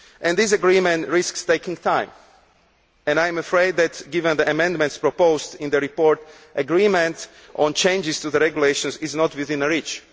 This agreement risks taking time and I am afraid that, given the amendments proposed in the report, agreement on changes to the regulations is not within reach.